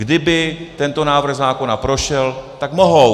Kdyby tento návrh zákona prošel, tak mohou.